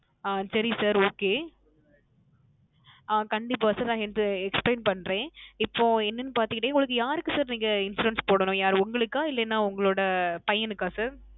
அஹ் சரி Sir Okay ah கண்டிப்பா Sir நான் இது Explain பண்றேன் இப்போ என்னனு பாத்துடிங் உங்களுக்கு யாருக்கு Sir Insurance போடணும் யார் உங்களுக்கா இல்ல உங்களோட பயனுக்கா Sir